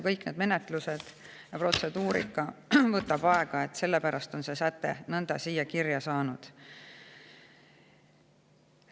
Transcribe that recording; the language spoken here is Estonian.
Kõik need menetlused ja protseduurika võtab aega, sellepärast on see säte nõnda siia kirja saanud.